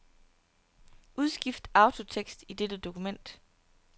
Udskift autotekst i dette dokument.